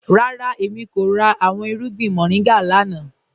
Rárá, èmi kò rà awọn irùgbìn moringa lánà.